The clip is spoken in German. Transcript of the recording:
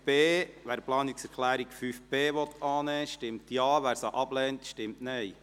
Wer die Planungserklärung 5.b annehmen will, stimmt Ja, wer sie ablehnt, stimmt Nein.